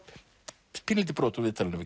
pínulítið brot úr viðtalinu við